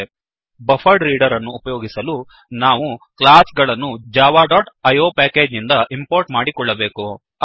buffered reader buffered reader ಅನ್ನು ಉಪಯೋಗಿಸಲು ನಾವು ಮೂರು ಕ್ಲಾಸ್ ಗಳನ್ನು Java dot IO package package ನಿಂದ ಇಂಪೋರ್ಟ್ ಮಾಡಿಕೊಳ್ಳಬೇಕು